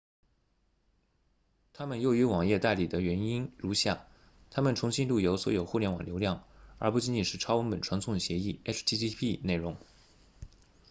它们优于网页代理的原因如下它们重新路由所有互联网流量而不仅仅是超文本传送协议 http 内容